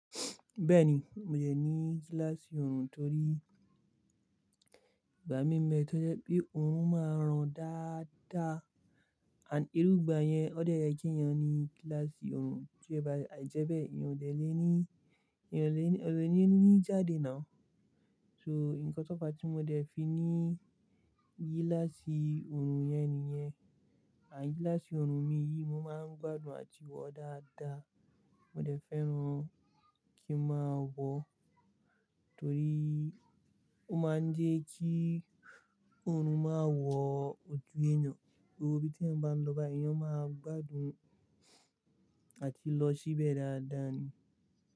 Bẹ́ẹ̀ni, mo dẹ̀ ní gíláàsì òòrùn torí ìgbà mi ń bẹ tó jẹ́ pé òòrùn máa ràn dáadáa àní irú ìgbà yẹn, ọ́ dẹ̀ yẹ kẹéèyàn ni gíláàsì òòrùn tí ẹ bá àì jẹ́bẹ́ẹ̀, èyàn ò dẹ̀ ní, èèyàn ò ní, ò dẹ̀ ní jáde now. So, ǹkan tó fàá tí mo dẹ̀ fi ní gíláàsì ọ̀run yẹn nìyẹn. À gíláàsì ọ̀run mi yìí, mo máa ń gbádùn àti wọ̀ọ́ dáadáa. Mo dẹ̀ fẹ́ràn kí n máa wọ, torí ó máa ń jẹ́ kí ọ̀run máa wọ̀ọ́ ojú ènìyàn, gbogbo ibi téèyàn bá ń lọ bá, èèyàn máa gbádùn àti lọ síbẹ̀ dáadáa ni.